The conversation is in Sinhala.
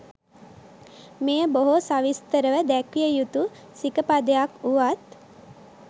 මෙය බොහෝ සවිස්තරව දැක්විය යුතු සිකපදයක් වුවත්